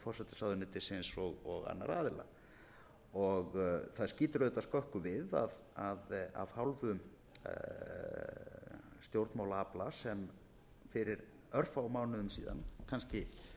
forsætisráðuneytisins og annarra aðila það skýtur auðvitað skökku við að af hálfu stjórnmálaafla sem fyrir örfáum mánuðum síðan kannski